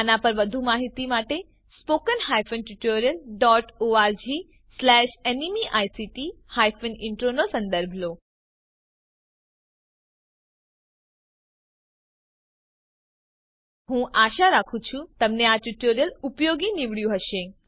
આના પર વધુ માહિતી માટે httpspoken tutorialorgNMEICT intro નો સંદર્ભ લો હું આશા રાખું છું કે તમને આ ટ્યુટોરીયલ ઉપયોગી નીવડ્યું હશે